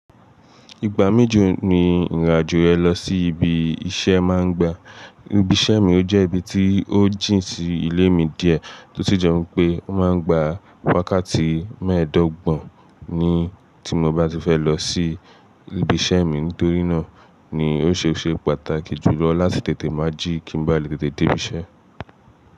Ìgbà méjì ni ìrìn àjò yẹ lọ sí ibi iṣẹ́ máa ń gba. Ibi iṣẹ́ mi ò jẹ́ ibi tí ó jìn sí ilé mi díẹ̀, tó si jẹ́ wipé ó máa ń gba wákàtí mẹ́ẹ̀ẹ́dọ́gbọ̀n ni tí mo bá ti fẹ́ lọ sí ibi iṣẹ́ mi. Nítorí náà ni ó ṣe é ṣe pàtàkì jù lọ láti tètè má ji kí n ba lè tètè dé ibi iṣẹ́.